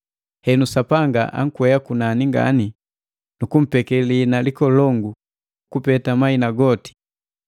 Henu Sapanga ankwea kunani ngani, nukumpeke liina likolongu kupeta mahina goti,